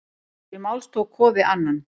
Til máls tók Kofi Annan.